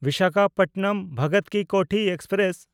ᱵᱤᱥᱟᱠᱷᱟᱯᱚᱴᱱᱚᱢ–ᱵᱷᱚᱜᱚᱛ ᱠᱤ ᱠᱳᱴᱷᱤ ᱮᱠᱥᱯᱨᱮᱥ